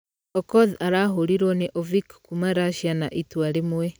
Okoth arahũrirwo nĩ ovik kuuma russia na itua rĩmwe .